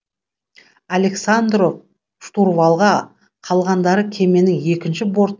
александров штурвалға қалғандары кеменің екінші бортына айналып кетеді